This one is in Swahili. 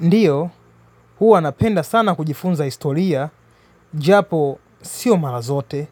Ndiyo, huu napenda sana kujifunza historia, japo sio marazote.